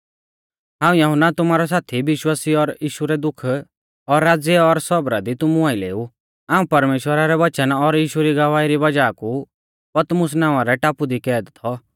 हाऊं यहुन्ना तुमारौ साथी विश्वासी और यीशु रै दुख और राज़्य और सौबरा दी तुमु आइलै ऊ हाऊं परमेश्‍वरा रै वचन और यीशु री गवाही री वज़ाह कु पतमुस नावां रै टापु दी कैद थौ